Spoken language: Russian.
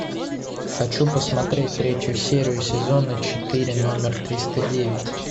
хочу посмотреть третью серию сезона четыре номер триста девять